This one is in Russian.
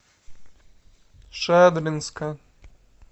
шадринска